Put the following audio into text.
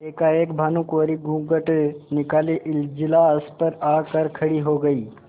एकाएक भानुकुँवरि घूँघट निकाले इजलास पर आ कर खड़ी हो गयी